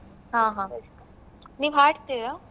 ಹ ಹ ನೀವ್ ಹಾಡ್ತೀರ?